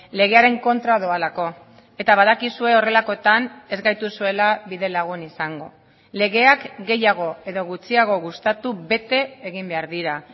legearen kontra doalako eta badakizue horrelakoetan ez gaituzuela bidelagun izango legeak gehiago edo gutxiago gustatu bete egin behar dira